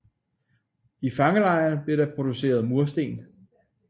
I fangelejren blev der produceret mursten